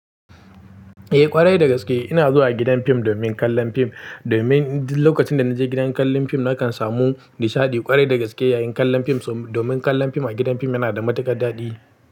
Eh ƙwarai dagaske ina zuwa gidan fim domin kallon fim, domin lokacin da naje gidan kallon fim nakan samu nishaɗi ƙwarai dagaske yayin kallon fim. Domin kallon fim a gidan fim yana da matuƙar daɗi.